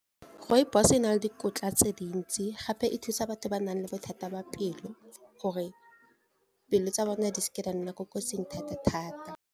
Rooibos-e na le dikotla tse dintsi gape e thusa batho ba nang le bothata ba pelo gore pelo tsa bone di seke di a nna ko kotsing thata-thata.